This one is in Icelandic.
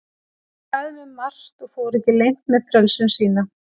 Hann sagði mér margt og fór ekki leynt með frelsun sína.